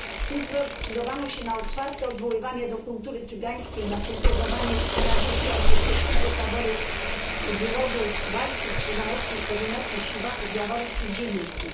Tu zdecydowano się na otwarte odwoływanie do kultury cygańskiej, na kultywowanie tradycji artystycznego taboru rodów Wajsów, Krzyżanowskich, Korzeniowskich, Siwaków, Jaworskich, Zielińskich.